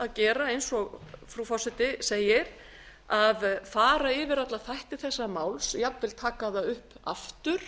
að gera eins og frú forseti segir að fara yfir alla þætti þessa máls jafnvel taka það upp aftur